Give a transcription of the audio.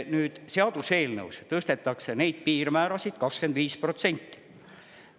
Nüüd, seaduseelnõus tõstetakse neid piirmäärasid 25%.